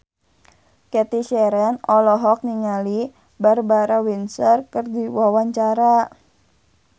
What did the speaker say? Cathy Sharon olohok ningali Barbara Windsor keur diwawancara